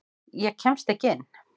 Ég kemst ekki inn.